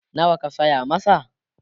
nawa ka saya masa?